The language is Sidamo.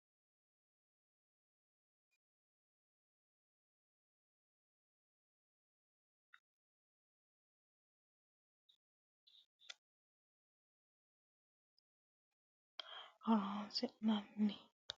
Gombotenna Xarote Malaate Xawishsha Sa u lamala rossininte gede gombote malaate lame mitte fiche afidhino qaalla borreessinanni woyte mitto gombote malaati worranni xarote malaate kayinni woy yine xawinsanni woyte horonsi nanni.